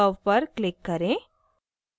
curve पर click करें